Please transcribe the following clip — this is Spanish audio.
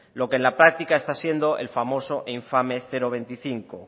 lo que en la práctica está siendo el famoso e infame cero coma veinticinco